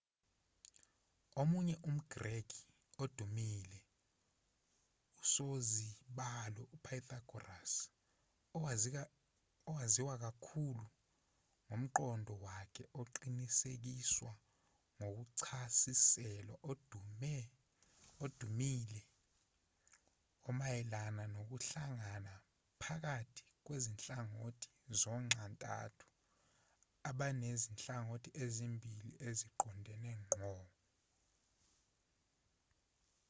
omunye umgreki odumile usozibalo upythagoras owaziwa kakhulu ngomqondo wakhe oqinisekiswa ngokuchasiselwa odumile omayelana nokuhlangana phakathi kwezinhlangothi zonxantathu abanezinhlangothi ezimbili eziqondene ngqo